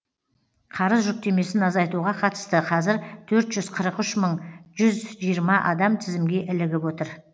қарыз жүктемесін азайтуға қатысты қазір төрт жүз қырық үш мың жүз жиырма адам тізімге ілігіп отыр